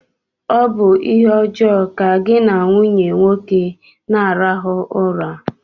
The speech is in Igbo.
Ọ bụ ihe ọjọọ ka gị na nwunye nwoke na-arahụ ụra